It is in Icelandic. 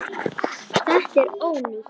Þetta er ónýtt.